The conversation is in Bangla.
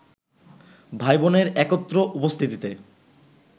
ভাই-বোনের একত্র উপস্থিতিতে